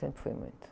Sempre foi muito.